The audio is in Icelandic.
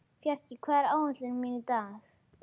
Fjarki, hvað er á áætluninni minni í dag?